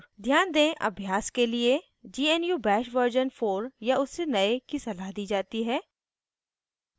ध्यान दें अभ्यास के लिए gnu bash version 4 या उससे नए की सलाह दी जाती है